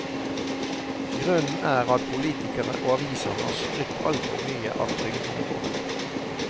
Grunnen er at politikere og aviser har skrytt altfor mye av trygdene våre.